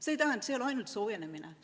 See ei ole ainult soojenemine.